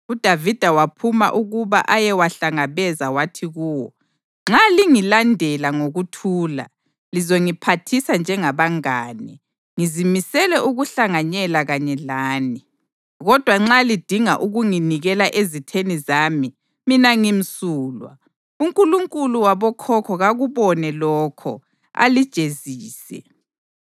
UDavida waphuma ukuba ayewahlangabeza wathi kuwo: “Nxa lingilandela ngokuthula, lizongiphathisa njengabangane, ngizimisele ukuhlanganyela kanye lani. Kodwa nxa lidinga ukunginikela ezitheni zami, mina ngimsulwa, uNkulunkulu wabokhokho kakubone lokho, alijezise.”